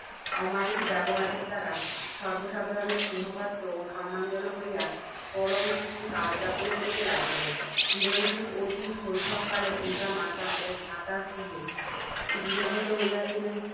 অমায়িক ব্যবহার এর দ্বারা সর্ব্বসাধারণের স্নেহপাত্র ও সম্মানভাজন হইয়া, পরম সুখে কাল যাপন করিতে লাগিলেন। চিরঞ্জীব অতি শৈশবকালে পিতা, মাতা ও ভ্রাতার সহিত বিয়োজিত হইয়াছিলেন,